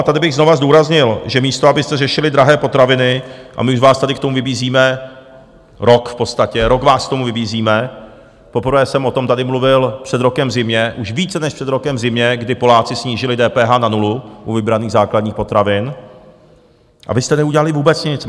A tady bych znovu zdůraznil, že místo abyste řešili drahé potraviny - a my už vás tady k tomu vybízíme rok v podstatě, rok vás k tomu vybízíme, poprvé jsem o tom tady mluvil před rokem v zimě, už více než před rokem v zimě, kdy Poláci snížili DPH na nulu u vybraných základních potravin, a vy jste neudělali vůbec nic.